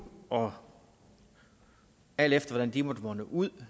og alt efter hvordan de måtte munde ud